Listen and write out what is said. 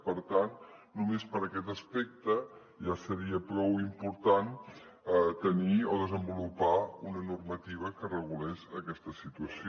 per tant només per aquest aspecte ja seria prou important tenir o desenvolupar una normativa que regulés aquesta situació